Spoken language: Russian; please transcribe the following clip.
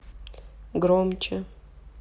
громче